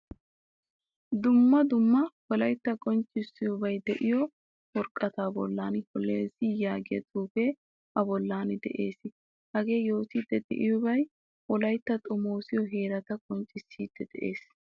Dumma dumma wolaytta qonccisiyabay deiyo worqqata bollan "hollozy" yaagiyaa xuufe a bollan de'ees. Hagee yootidi deiyobay wolaytta xomosiyo heerata qonccisidi de'ees.